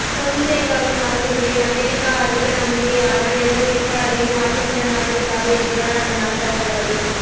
பொன்சேகாவின் வாக்குறுதியில் அமெரிக்கா அதிக நம்பிக்கை ஆனால் எந்த வேட்பாளரையும் வாசிங்டன் ஆதரிக்காது என்கிறார் அந்த நாட்டு அதிகாரி